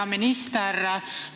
Hea minister!